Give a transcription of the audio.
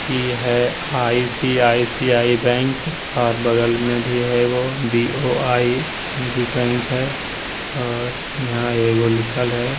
ये है ICICI. Bank और बगल में भी है एकगो बी.ओ.आई. भी बैंक और यहाँ एकगो लिखल है।